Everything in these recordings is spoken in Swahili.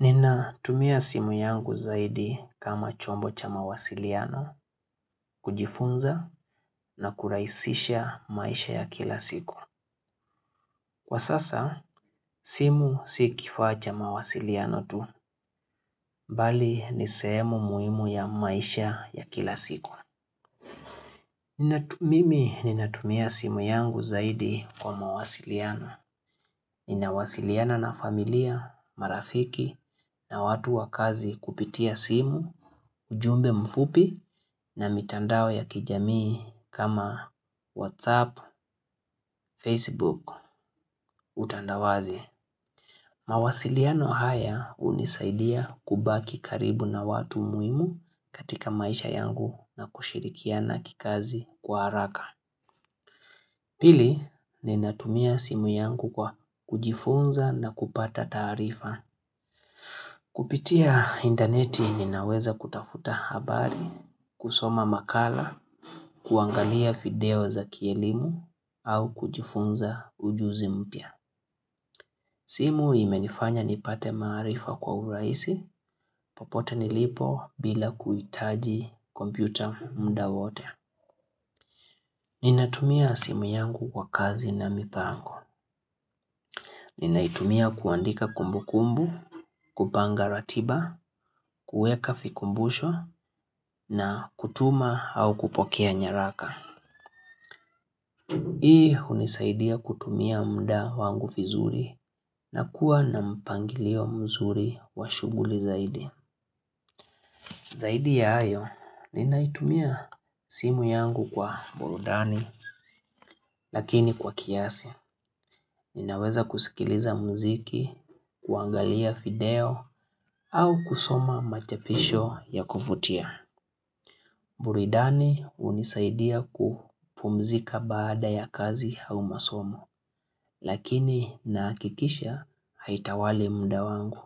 Ninatumia simu yangu zaidi kama chombo cha mawasiliano, kujifunza na kurahisisha maisha ya kila siku. Kwa sasa, simu si kifaa cha mawasiliano tu, bali ni sehemu muhimu ya maisha ya kila siku. Mimi ninatumia simu yangu zaidi kwa mawasiliano. Ninawasiliana na familia, marafiki na watu wa kazi kupitia simu, ujumbe mfupi na mitandao ya kijamii kama Whatsapp, Facebook, utandawazi. Mawasiliano haya unisaidia kubaki karibu na watu muhimu katika maisha yangu na kushirikiana kikazi kwa haraka. Pili ninatumia simu yangu kwa kujifunza na kupata taarifa. Kupitia interneti ninaweza kutafuta habari, kusoma makala, kuangalia video za kielimu au kujifunza ujuzi mpya. Simu imenifanya nipate maarifa kwa urahisi, popote nilipo bila kuhitaji kompyuta mda wote. Ninatumia simu yangu kwa kazi na mipango. Ninaitumia kuandika kumbukumbu, kupanga ratiba, kueka vikumbusho na kutuma au kupokea nyaraka. Hii unisaidia kutumia mda wangu vizuri na kuwa na mpangilio mzuri wa shuguli zaidi. Zaidi ya hayo, ninaitumia simu yangu kwa burudani lakini kwa kiasi. Ninaweza kusikiliza muziki, kuangalia video, au kusoma machapisho ya kuvutia. Burudani unisaidia kupumzika baada ya kazi au masomo. Lakini nahakikisha haitawali muda wangu.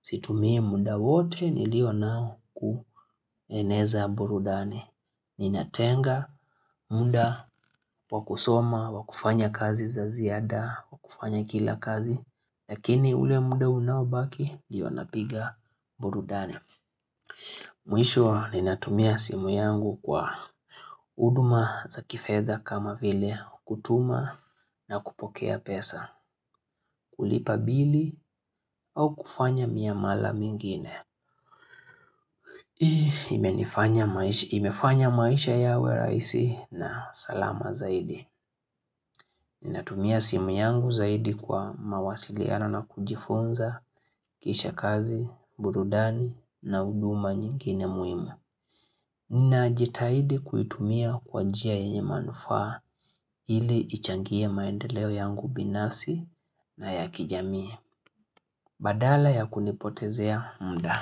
Situmii muda wote nilio nayo kueneza burudani. Ninatenga muda wa kusoma, wakufanya kazi za ziada, wakufanya kila kazi. Lakini ule mda unaobaki hiyo napiga burudani Mwisho ninatumia simu yangu kwa huduma za kifedha kama vile kutuma na kupokea pesa kulipa bili au kufanya niamala mingine imefanya maisha yawe rahisi na salama zaidi Ninatumia simu yangu zaidi kwa mawasiliano na kujifunza, kisha kazi, burudani na uduma nyingine muhimi. Ninajitahidi kuitumia kwa njia yenye manufaa ili ichangie maendeleo yangu binafsi na ya kijamii. Badala ya kunipotezea mda.